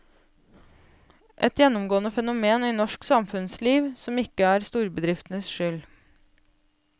Et gjennomgående fenomen i norsk samfunnsliv, som ikke er storbedriftenes skyld.